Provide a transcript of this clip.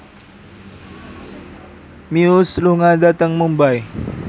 Muse lunga dhateng Mumbai